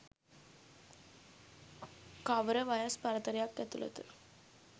කවර වයස් පරතරයක් ඇතුළත